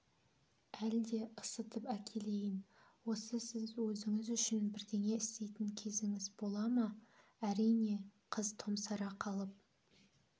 әлде ысытып әкелейін осы сіз өзіңіз үшін бірдеңе істейтін кезіңіз бола ма әрине қыз томсара қалып